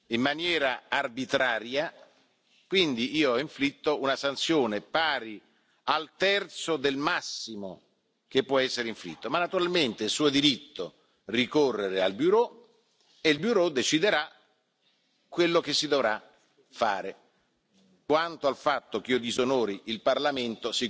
Herr Präsident, liebe Kolleginnen und Kollegen! Wir haben heute nun ein zweites Mal die Möglichkeit, über die Anwendung des Urheberrechts in der digitalen Welt zu entscheiden. Ich wäre Ihnen dankbar, wenn sich das Europäische Parlament